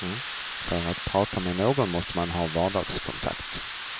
För att prata med någon måste man ha vardagskontakt.